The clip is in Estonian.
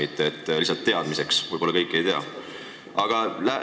See oli öeldud lihtsalt teadmiseks, võib-olla kõik seda ei tea.